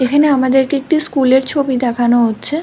এখানে আমাদেরকে এটি একটি স্কুল এর ছবি দেখানো হচ্ছে।